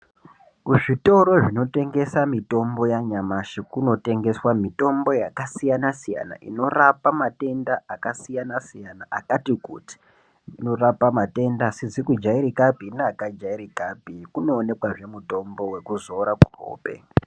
Kuzvitoro zvinotengeswa mitombo yanyamashi kunotengeswa mitombo yakasiyana siyana inorapa matenda akasiyana siyana akati kuti . Inorapa matenda asizi kujairikapi neakajairikapi , kunoonekazve mutombo wekuzora muhope.